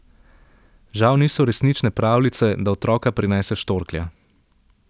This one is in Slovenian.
Žal niso resnične pravljice, da otroka prinese štorklja.